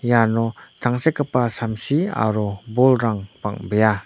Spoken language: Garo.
iano tangsekgipa samsi aro bolrang bang·bea.